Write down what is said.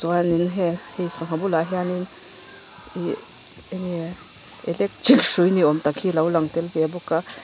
sangha bulah hian in ihh eng nge electric hrui ni awm tak hi a lo lang tel ve bawk a.